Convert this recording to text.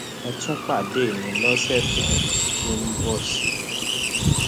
ẹ tún pàdé mi lọsẹ tó tó ń bọ sí i